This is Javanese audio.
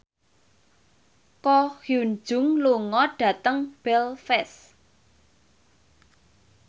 Ko Hyun Jung lunga dhateng Belfast